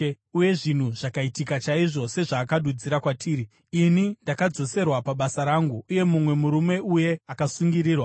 Uye zvinhu zvakaitika chaizvo sezvaakadudzira kwatiri: Ini ndakadzoserwa pabasa rangu, uye mumwe murume uye akasungirirwa.”